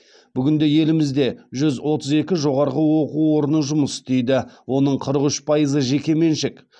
бүгінде елімізде жүз отыз екі жоғарғы оқу орны жұмыс істейді оның қырық үш пайызы жекеменшік